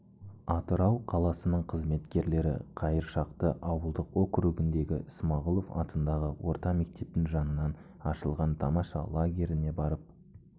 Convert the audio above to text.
атырау қаласының қызметкерлері қайыршақты ауылдық округіндегі смағұлов атындағы орта мектептің жанынан ашылған тамаша лагеріне барып